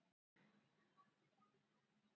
Ég veit raunar ekki hvers vegna honum datt það í hug.